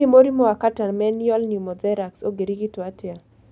Hihi mũrimũ wa catamenial pneumothorax ũngĩrigitwo atĩa